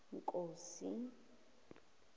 nkosi